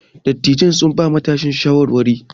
Dattijon sun bawa matasan shawarwari.